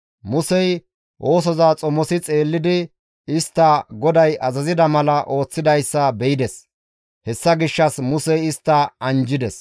Musey oosoza xomosi xeellidi istta GODAY azazida mala ooththidayssa be7ides. Hessa gishshas Musey istta anjjides.